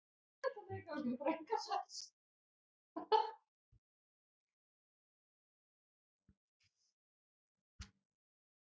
Kellý, hvernig er veðrið á morgun?